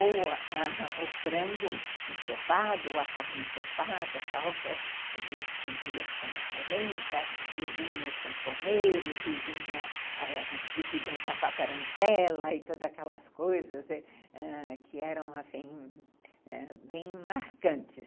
Ou ãh o frango ensopado, ou a carne ensopada, tal, que a gente comia com a polenta, e vinham os sanfoneiros, e se dançava a tarantela, e todas aquelas coisas ãh que eram assim, bem marcantes.